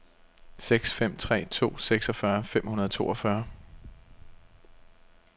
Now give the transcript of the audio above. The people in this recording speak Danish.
seks fem tre to seksogfyrre fem hundrede og toogfyrre